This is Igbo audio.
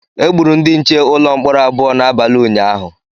Egburu ndị nche ụlọ mkpọrọ abụọ n’abalị ụnyahụ